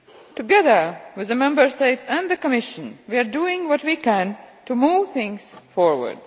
Together with the Member States and the Commission we are doing what we can to move things forward.